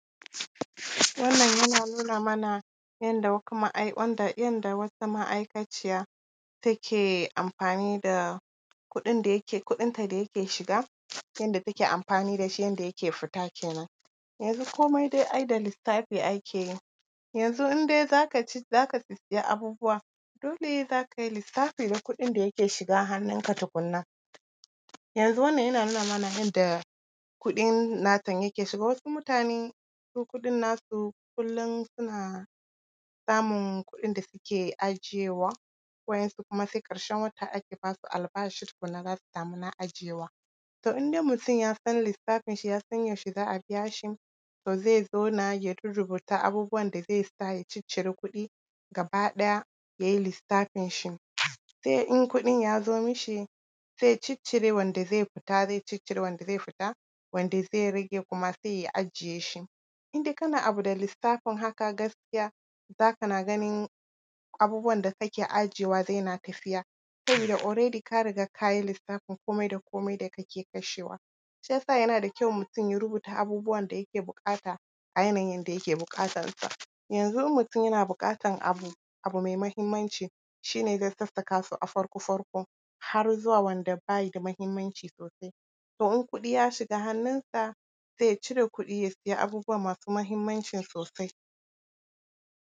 Wannan kuma yana nuna mana yadda wata ma’aikaciya take amfani da kuɗin da yake… kuɗinta da yake shiga, yadda take amfani da shi, yadda yake fita kenan. Yanzu dai komai ai da lissafi ake yi. Yanzu in dai za ka ci… za ka sissiya abubuwa, dole za ka yi lissafi na kuɗin da yake shiga hannunka tukunna. Yanzu wannan yana nuna mana yadda kuɗin natan ya ke shiga, wasu mutanen su kuɗin nasu kullum suna samun kuɗin da suke ajiyewa, waɗansu kuma sai ƙarshen wata ake ba su albashi tukunna, za su samu na ajiyewa. To in dai mutum ya san lissafinshi, ya san yaushe za a biya shi, to zai zauna ya rurrubuta abubuwan da zai sa ya ciccire kuɗi gaba ɗaya, ya yi lissafinshi, sai in kuɗin ya zo mishi, sai ya ciccire wanda zai fita, zai ciccire wanda zai fita, wanda zai rage kuma, sai ya ajiye shi. In dai kana abu da lissafin haka, gaskiya za kana ganin abubuwan da kake ajiyewa zai na tafiya, sabida already ka riga ka yi lissafin komai da komai da kake kashewa. Shi ya sa yana da kyau, mutum ya rubuta abubuwan da yake buƙata a yanayin yadda yake buƙatansa. Yanzu in mutum yana buƙatan abu, abu mai muhimmanci, shi ne zai sassaka su a farko-farko, har zuwa uwa wanda bai da muhimmanci sosai. To in kuɗi ya shiga hannunsa, sai ya cire kuɗi, ya siya abubuwa masu muhimmancin sosai.